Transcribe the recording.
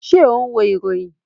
Ṣé o n wo ìròyìn?